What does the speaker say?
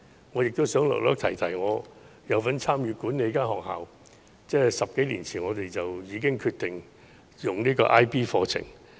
我亦想稍提我有份參與管理的學校，在10多年前便已決定採用 IB 課程。